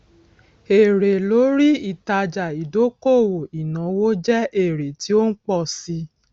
èrè lórí ìtájà ìdókòwò ìnáwó jẹ èrè tí ó ń pọ sí i